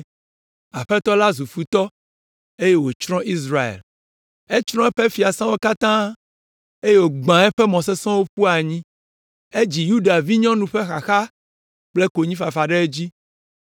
Aƒetɔ la zu futɔ eye wòtsrɔ̃ Israel. Etsrɔ̃ eƒe fiasãwo katã eye wògbã eƒe mɔ sesẽwo ƒu anyi. Edzi Yuda vinyɔnu ƒe nuxaxa kple konyifafa ɖe edzi.